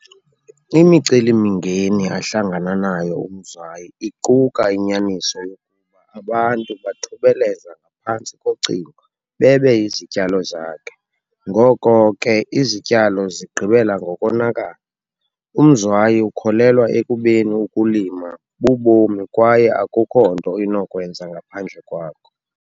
Imiceli-mingeni ahlangana nayo uMzwayi iquka inyaniso yokuba abantu bathubeleza ngaphantsi kocingo bebe izityalo zakhe, ngoko ke izityalo zigqibela ngokonakala. UMzwayi ukholelwa ekubeni ukulima bubomi kwaye akukho nto inokwenzeka ngaphandle kwako.